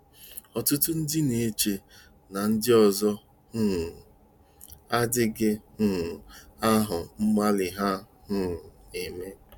Ọtụtụ ndị na-eche na ndị ọzọ um adịghị um ahụ mgbalị ha um na-eme.